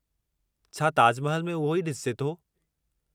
छा ताज महल में उहो ई ॾिसिजे थो?